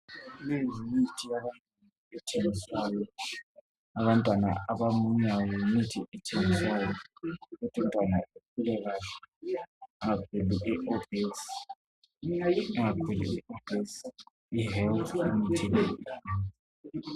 Leyi yimithi ethengiswayo yabantwana abakhulayo. mithi yabantwana abamunyayo ukuthi umntwana akhule Kahle